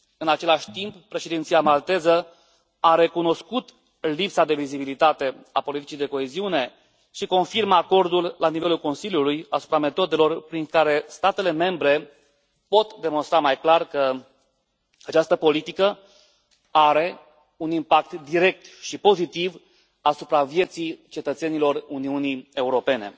În același timp, președinția malteză a recunoscut lipsa de vizibilitate a politicii de coeziune și confirmă acordul la nivelul Consiliului asupra metodelor prin care statele membre pot demonstra mai clar că această politică are un impact direct și pozitiv asupra vieții cetățenilor Uniunii Europene.